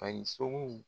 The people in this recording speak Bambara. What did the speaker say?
Ani sogo